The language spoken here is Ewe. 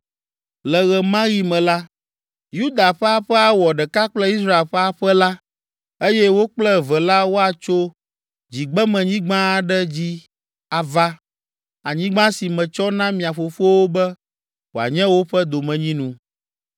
Le ɣe ma ɣi me la, Yuda ƒe aƒe awɔ ɖeka kple Israel ƒe aƒe la eye wo kple eve la woatso dzigbemenyigba aɖe dzi ava, anyigba si metsɔ na mia fofowo be wòanye woƒe domenyinu.”